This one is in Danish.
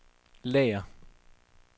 lager